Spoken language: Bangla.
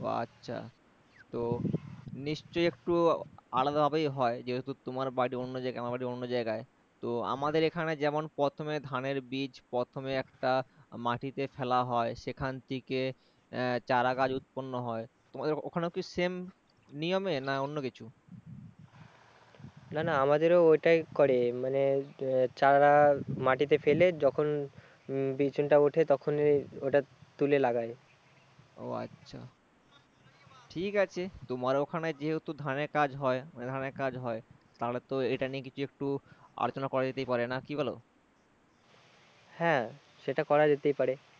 সেটা করাই যেতেই পারে